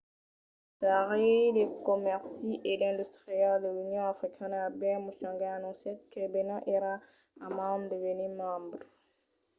lo commissari de comèrci e d’industria de l'union africana albert muchanga anoncièt que benin èra a mand de venir membre